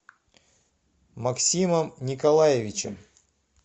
максимом николаевичем